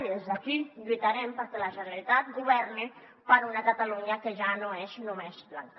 i des d’aquí lluitarem perquè la generalitat governi per a una catalunya que ja no és només blanca